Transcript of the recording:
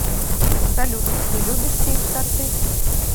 салют ты любишь печь торты